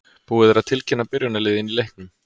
Búið er að tilkynna byrjunarliðin í leiknum.